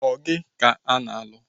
Ọ gị ka a na-alụ?